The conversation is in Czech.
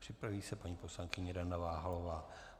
Připraví se paní poslankyně Dana Váhalová.